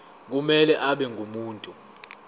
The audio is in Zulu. kumele abe ngumuntu